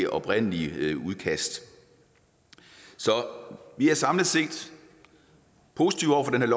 oprindelige udkast så vi er samlet set positive over for det